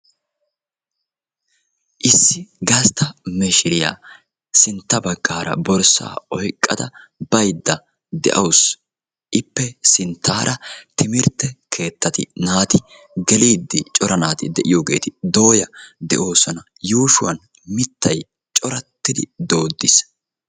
Issi gastta mishshiriya sintta baggaara borssaa oyqqada baydda de'awusu. Ippe sintaara timirtte keettatti naati geliidi cora naati de'iyogeeti dooya de'oosona. Yuushuwan mittay corattidi dooddiis.